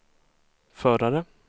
förare